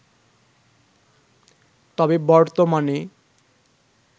তবে বর্তমানে